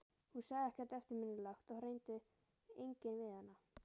Hún sagði ekkert eftirminnilegt og það reyndi enginn við hana.